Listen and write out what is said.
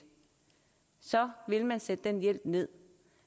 så vil man sætte den hjælp ned